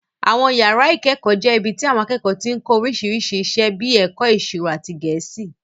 Àwọn yàrá ìkẹ́kọ̀ọ́ jẹ́ ibi tí àwọn akẹ́kọ̀ọ́ ti ń kọ́ oríṣiríṣi iṣẹ́ bíi ẹ̀kọ́ ìṣirò àti Gẹ̀ẹ́sì